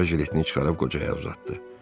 Tələbə jiletini çıxarıb qocaya uzatdı.